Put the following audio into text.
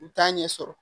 U t'a ɲɛ sɔrɔ